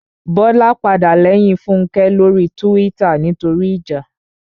Bọ́lá padà lẹ́yìn Fúnkẹ́ lórí túwítà nítorí ìjà